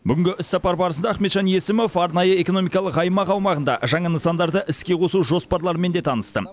бүгінгі іссапар барысында ахметжан есімов арнайы экономикалық аймақ аумағында жаңа нысандарды іске қосу жоспарларымен де танысты